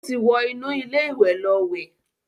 Ó ti wọ inú ilé ìwẹ̀ lọ wẹ̀.